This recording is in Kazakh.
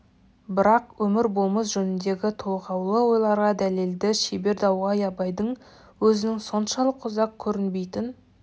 бірақ өмір болмыс жөніндегі толғаулы ойларға дәлелді шебер дауға абайдың өзінен соншалық ұзақ көрінбейтін